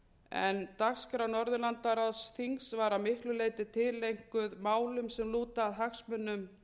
en dagskrá norðurlandaráðsþings var að miklu leyti tileinkuð málum sem lúta að hagsmunum